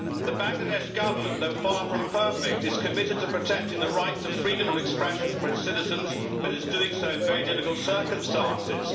The Bangladesh Government, though far from perfect, is committed to protecting the right to freedom of expression for its citizens but is doing so in very difficult circumstances.